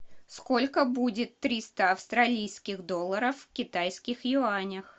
сколько будет триста австралийских долларов в китайских юанях